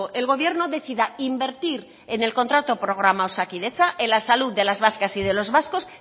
el gobierno decida invertir en el contrato programa osakidetza en la salud de las vascas y de los vascos